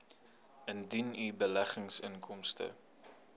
indien u beleggingsinkomste